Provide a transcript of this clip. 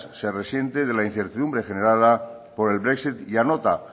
se resiente por la incertidumbre generada por el brexit y anota